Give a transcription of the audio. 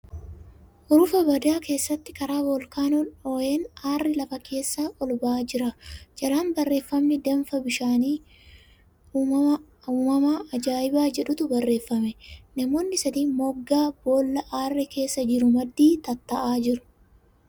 Hurufa badaa keessatti karaa Voolkaanoon dhoo'een aarri lafa keessa ol ba'aa jira. Jalaan barreeffamni ' Danfa bishaan uumamaa ajaa'ibaa 'jedhutu barreeffame. Namoonni sadi moggaa boolla aarri keessa jiru maddii tataa'aa jiru.